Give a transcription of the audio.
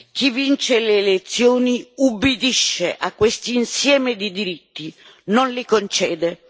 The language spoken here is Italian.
Chi vince le elezioni ubbidisce a questo insieme di diritti, non li concede.